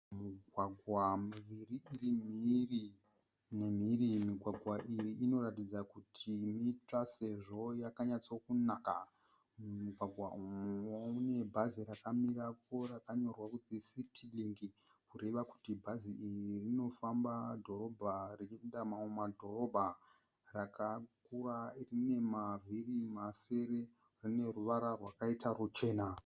Migwagwa miviri iri mhiri nemhiri .migwagwa iyi inoratidza kuti itsva sezvo yakanyatsokunaka. Mumugwagwa umu mune bhazi rakamirapo rakanyorwa kunzi City Link kureva kuti bhazi iri rinofamba dhorobha richipinda mamwe madhorobha, rakakura rine rinemavhiri masere rine ruvara rwakaita ruchena.